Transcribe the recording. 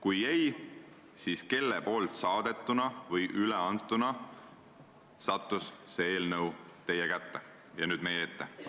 Kui ei, siis kelle saadetuna või üleantuna sattus see eelnõu teie kätte ja nüüd meie ette?